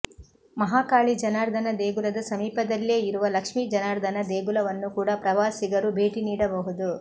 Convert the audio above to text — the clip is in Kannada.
ಮಹಾಕಾಳಿ ಜನಾರ್ದನ ದೇಗುಲದ ಸಮೀಪದಲ್ಲೇ ಇರುವ ಲಕ್ಷ್ಮಿ ಜನಾರ್ದನ ದೇಗುಲವನ್ನು ಕೂಡಾ ಪ್ರವಾಸಿಗರು ಭೇಟಿ ನೀಡಬಹುದು